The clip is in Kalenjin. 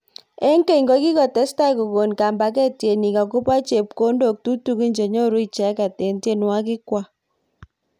eng keny kokitostai kokon kambaket tienik akobo chepkondok tutikin chenyoru icheket eng tienwokik kwaak.